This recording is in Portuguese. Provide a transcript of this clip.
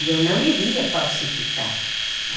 E eu não iria falsificar.